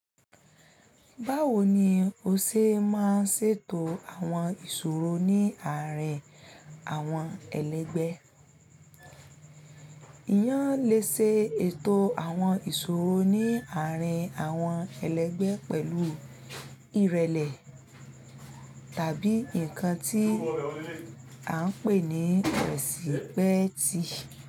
Báwo ni o ṣe máa ń ṣètò àwọn ìṣòro ní àárín àwọn ẹlẹgbẹ́? Iyán lè ṣe ètò àwọn ìṣòro ní àárín àwọn ẹlẹgbẹ́ pẹ̀lú ìrẹlẹ tàbí nǹkan tí à ń pè ní rẹ̀sípẹ́ẹ̀tì.